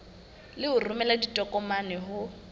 le ho romela ditokomane ho